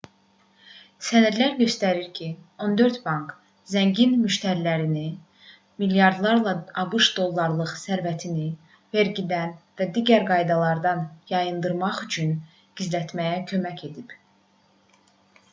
sənədlər göstərdi ki 14 bank zəngin müştərilərinə milyardlarla abş dollarlıq sərvətini vergilərdən və digər qaydalardan yayındırmaq üçün gizlətməyə kömək edib